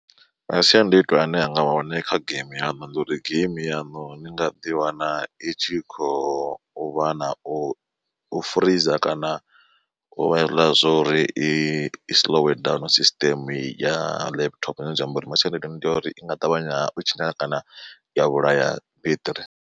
Masiandoitwa ane anga vha hone kha geimi yaṋu ndi uri geimi yaṋu ni nga ḓi wana i tshi khou vha na u furiza kana u vha hezwiḽa zwo uri i slow down system ya laptop zwine zwa amba uri masiandaitwa ndi ya uri i nga ṱavhanya u tshinyala kana ya vhulaya beṱiri.